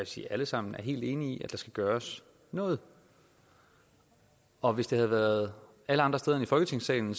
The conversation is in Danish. sige alle sammen er helt enige i at der skal gøres noget og hvis det havde været alle andre steder end i folketingssalen